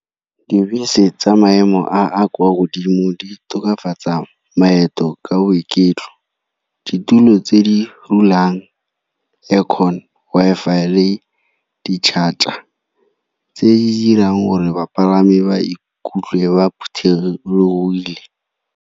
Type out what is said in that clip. Dibese tsa maemo a kwa godimo di tokafatsa maeto ka boiketlo, ditulo tse di dulang aircon, Wi-Fi le di-charger tse di dirang gore bapalami ba ikutlwe ba phuthologile.